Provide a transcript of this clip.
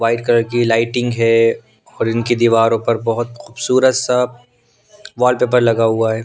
White colour की लाइटिंग है और इनकी दीवारों पर बहुत खूबसूरत सा वॉलपेपर लगा हुआ है।